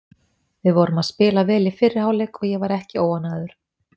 Við vorum að spila vel í fyrri hálfleik og ég var ekki óánægður.